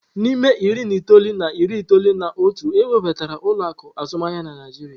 N'ime iri na itoolu na iri itoolu na otu, ewebata ụlọ akụ azụmaahịa na Naịjirịa.